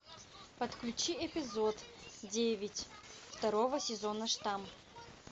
подключи эпизод девять второго сезона штамп